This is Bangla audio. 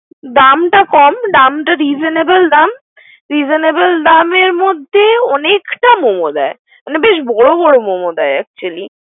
দামটাক কম দামটা reasonable দাম, reasonable দামের মধ্যে অনেকটা মোমো দেয়। মানে বেশ বর বর মোমো দেয় Actually ।